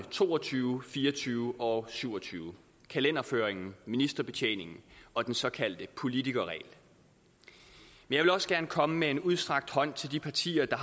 to og tyve fire og tyve og syv og tyve kalenderføringen ministerbetjeningen og den såkaldte politikerregel jeg vil også gerne komme med en udstrakt hånd til de partier der